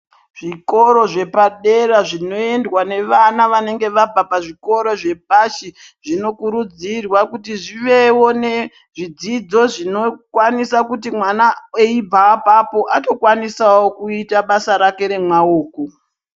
Zvokoro zvepadera zvinoendwa navana vanenge vabva pazvikoro zvepashi zvinokurudzirwa kuti zvivewo nezvidzidzo zvinokwanisa kuti mwana eibva apapo atokwanisawo kuita basa rake remaoko.